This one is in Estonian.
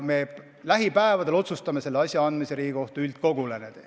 Me lähipäevadel otsustame selle asja andmise Riigikohtu üldkogule.